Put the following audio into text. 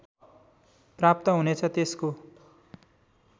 प्राप्त हुनेछ त्यसको